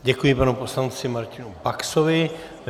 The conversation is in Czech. Děkuji panu poslanci Martinu Baxovi.